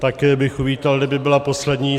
Také bych uvítal, kdyby byla poslední.